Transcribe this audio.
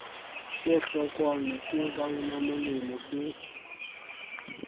se hlokwang ke baunamolemo le